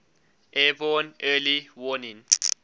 airborne early warning